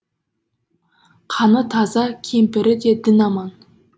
қаны таза кемпірі де дін аман